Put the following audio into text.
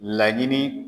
Laɲini